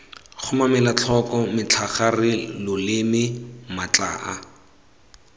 kgomarela tlhoko metlhagare loleme matlhaa